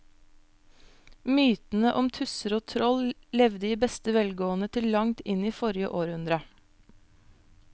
Mytene om tusser og troll levde i beste velgående til langt inn i forrige århundre.